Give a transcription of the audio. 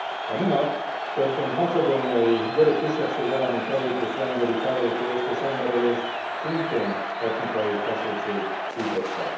A minap történt macedóniai görög kisebbség elleni tragikus rendőri fellépést és emberölést szintén etnikai feszültség szította.